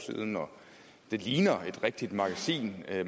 det ligner et rigtigt magasin